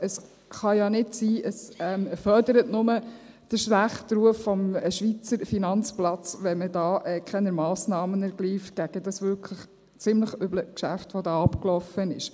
Es kann ja nicht sein, es fördert nur den schlechten Ruf des Schweizer Finanzplatzes, wenn man keine Massnahmen gegen dieses wirklich ziemlich üble Geschäft ergreift, das da abgelaufen ist.